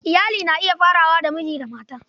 Iyali na iya farawa daga miji da mata.